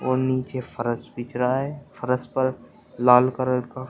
और नीचे फर्श बिछ रहा है फर्श पर लाल कलर का--